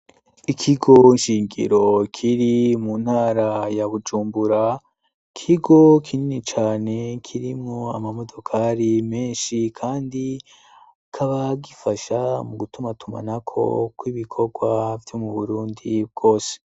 Ikigo nshingiro kiri mu ntara ya Bujumbura; ikigo kinini cane kirimwo amamodokari menshi kandi kikaba gifasha mu gutuma tumanako kw'ibikorwa vyo mu Burundi bwose.